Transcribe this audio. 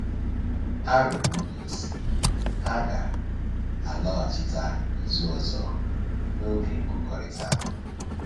A rụrụ ubi ose, ha ga-alọghachita izu ọzọ n'oge nkụkọrịta